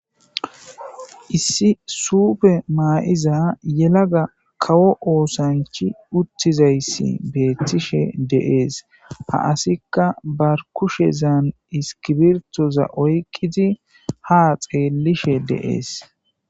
Issi suupe ma'iza yelaga kawo osanchchi uttizayssi beetishe de'es; ha asikka bar kushezan iskibirtoza oyqidi haa xeelishe de'es.